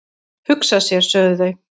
"""Hugsa sér, sögðu þau."""